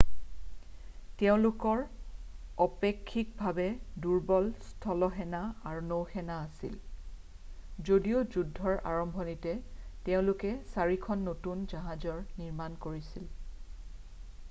তেওঁলোকৰ অপেক্ষিকভাৱে দুৰ্বল স্থলসেনা আৰু নৌসেনা আছিল যদিও যুদ্ধৰ আৰম্ভণিতে তেওঁলোকে চাৰিখন নতুন জাহাজৰ নিৰ্মাণ কৰিছিল